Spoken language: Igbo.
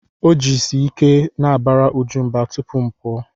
O jisi ike na-abara Uju mba tupu mụ apụọ.